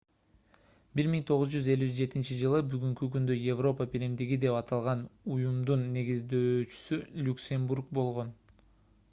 1957-ж бүгүнкү күндө европа биримдиги деп аталган уюмдун негиздөөчүсү люксембург болгон